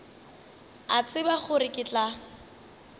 a tseba gore ke tla